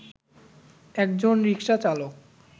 একজন রিকশাচালক